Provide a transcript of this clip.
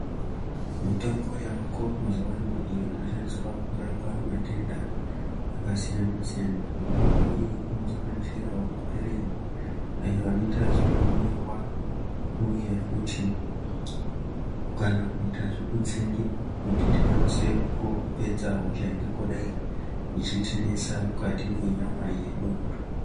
Mitombo yavako mazuwa ano, iyo inoshandiswa kurapa matenda akasiyana-siyana. Mitombo iyi inosanganisirawo maphirizi, ayo anoita zvekumwiwa, uye futi kana kuita zvekutsengiwa, kuti tikwanise kupedza hosha ingangodai ichitinesa mukati mwenyama yedu.